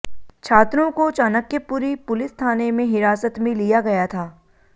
छात्रों को चाणक्यपुरी पुलिस थाने में हिरासत में लिया गया था